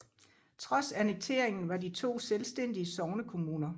Trods annekteringen var de to selvstændige sognekommuner